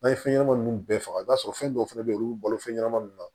N'an ye fɛn ɲɛnaman ninnu bɛɛ faga i b'a sɔrɔ fɛn dɔw fɛnɛ bɛ yen olu bɛ balo fɛn ɲɛnamanin ninnu na